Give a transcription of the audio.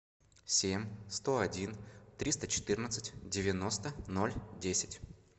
семь сто один триста четырнадцать девяносто ноль десять